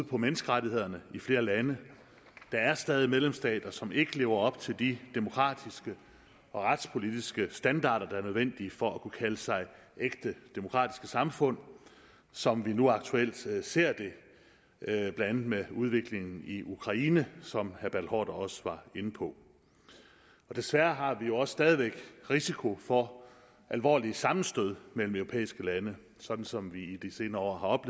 på menneskerettighederne i flere lande der er stadig medlemsstater som ikke lever op til de demokratiske og retspolitiske standarder der er nødvendige for at kunne kalde sig ægte demokratiske samfund som vi nu aktuelt ser ser det blandt andet med udviklingen i ukraine som herre også var inde på desværre har vi jo også stadig væk risiko for alvorlige sammenstød mellem europæiske lande sådan som vi i de senere år